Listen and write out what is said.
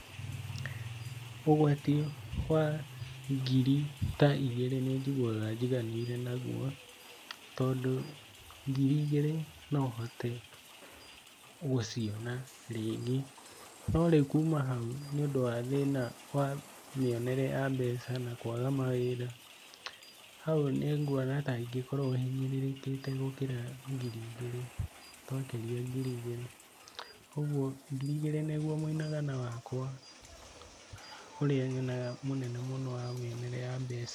Ũgwati wa ngiri ta igĩrĩ nĩnjiguaga njiganĩire naguo, tondũ ngiri igĩrĩ nohote gũciona rĩngĩ. No rĩu kuuma hau, nĩ ũndũ wa thĩna wa mĩonere ya mbeca na kwaga mawĩra, hau nĩnguona ta ingĩkorwo hinyĩrĩrĩkite gũkĩra ngiri igĩrĩ, twakĩria ngiri igĩrĩ, oguo ngiri igĩrĩ nĩguo mũinagana wakwa ũrĩa nyonaga mũnene mũno wa mĩonere ya mbeca.